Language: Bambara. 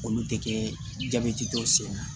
Olu tɛ kɛ jabɛti dɔw sen na